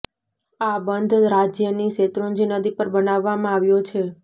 આ બંધ રાજ્યની શેત્રુંજી નદી પર બનાવવામાં આવ્યો છે